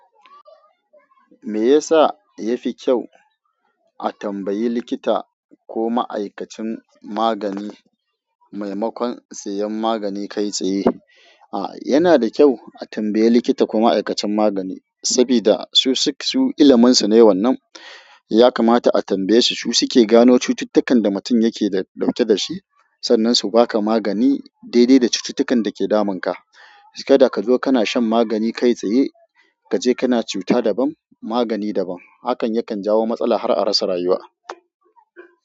Me yasa yafi kyau a tambayi likita ko ma'aikacin magani maimakon siyan magani kai tsaye? A, yana da kyau a tambaye likita ko ma'aikacin magani sabida su su, su iliminsu ne wannan. Ya kamata a tambaye su, su suke gano cututtukan da mutum yake dauke da shi. Sannan su baka magani daidai da cututtukan da ke damun ka. Kada ka zo kana shan magani kai tsaye, kaje kana cuta dabam magani dabam. Hakan yakan jawo matsala har a rasa rayuwa.